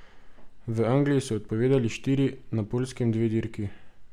V Angliji so odpovedali štiri, na Poljskem dve dirki.